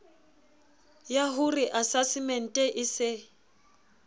yah ore asasemente e se